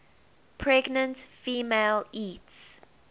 pregnant female eats